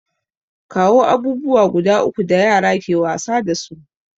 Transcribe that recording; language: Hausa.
Kawo abubuwa guda uku da yara ke wasa dasu?